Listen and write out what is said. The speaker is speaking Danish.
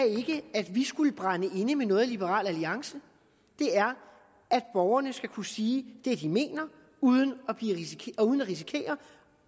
at vi skulle brænde inde med noget i liberal alliance det er at borgerne skal kunne sige det de mener uden at risikere